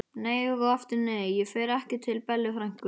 Nei og aftur nei, ég fer ekki til Bellu frænku!